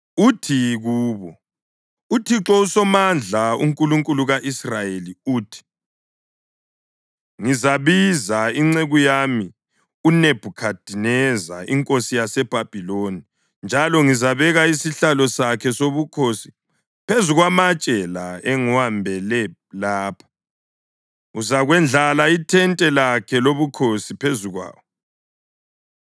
uthi kubo, ‘ UThixo uSomandla, uNkulunkulu ka-Israyeli uthi: Ngizabiza inceku yami uNebhukhadineza inkosi yaseBhabhiloni, njalo ngizabeka isihlalo sakhe sobukhosi phezu kwamatshe la engiwambele lapha; uzakwendlala ithente lakhe lobukhosi phezu kwawo.